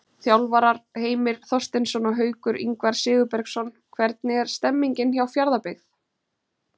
Þjálfarar: Heimir Þorsteinsson og Haukur Ingvar Sigurbergsson Hvernig er stemningin hjá Fjarðabyggð?